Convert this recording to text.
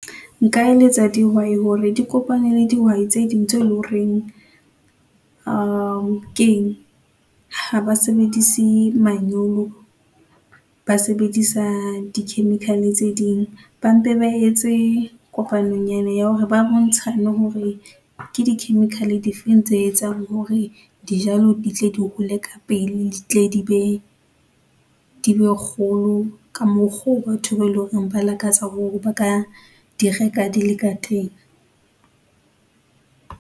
Nka eletsa dihwai hore di kopane le dihwai tse ding tse leng horeng keng ha ba sebedise manyolo, ba sebedisa di-chemical-e tse ding, ba mpe ba etse kopanonyana ya hore ba bontshane hore ke di-chemical-e di feng tse etsang hore dijalo ditle di hole ka pele di tle di be, di be kgolo ka mokgwa oo batho ba eleng hore ba lakatsa hore ba ka di reka di le ka teng.